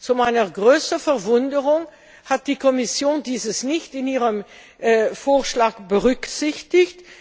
Zu meiner größten Verwunderung hat die Kommission dies nicht in ihrem Vorschlag berücksichtigt.